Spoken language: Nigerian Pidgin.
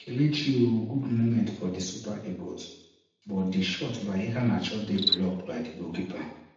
kelechiiiiiiiii oh good moment for di super eagles but di shot by iheanacho dey blocked by di goalkeeper